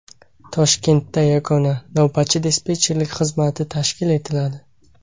Toshkentda yagona navbatchi-dispetcherlik xizmati tashkil etiladi.